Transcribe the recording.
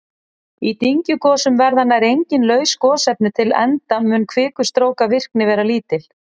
Í dyngjugosum verða nær engin laus gosefni til enda mun kvikustrókavirkni vera lítil.